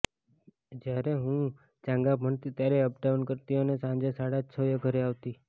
જ્યારે હું ચાંગા ભણતી ત્યારે અપડાઉન કરતી અને સાંજે સાડા છએ ઘરે આવતી